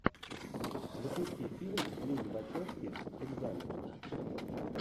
запусти фильм лилли вачовски экзамен